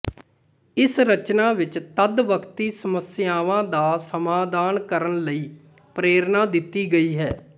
ਇਸ ਰਚਨਾ ਵਿੱਚ ਤਦ ਵਕਤੀ ਸਮੱਸਿਆਵਾਂ ਦਾ ਸਮਾਧਾਨ ਕਰਣ ਲਈ ਪ੍ਰੇਰਨਾ ਦਿੱਤੀ ਗਈ ਹੈ